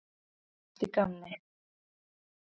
Allt í gamni.